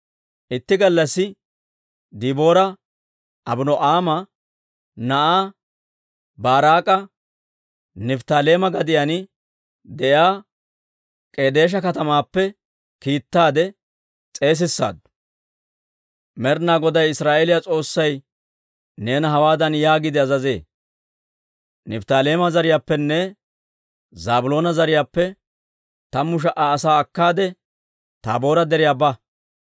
Itti gallassi Deboora Abino'aama na'aa Baaraak'a Nifttaaleema gadiyaan de'iyaa K'edeesha katamaappe kiittaade s'eesissaaddu; «Med'inaa Goday Israa'eeliyaa S'oossay neena hawaadan yaagiide azazee; ‹Nifttaaleema zariyaappenne Zaabiloona zariyaappe tammu sha"a asaa akkaade, Taaboora Deriyaa ba.